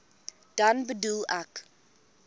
dan bedoel ek